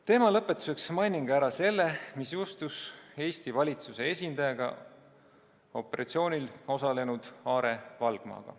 Teema lõpetuseks mainin ära selle, mis juhtus Eesti valitsuse esindajaga, operatsioonil osalenud Aarne Valgmaga.